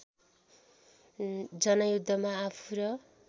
जनयुद्धमा आफू र